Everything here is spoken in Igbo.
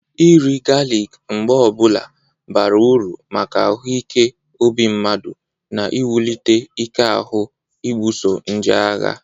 Iri galik mgbe ọbụla bara uru maka ahụ ike obi mmadụ na iwulite ike ahụ ibuoso nje agha.